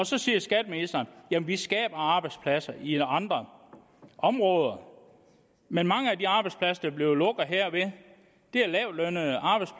så siger skatteministeren at jamen vi skaber arbejdspladser i andre områder men mange af de arbejdspladser der bliver lukket herved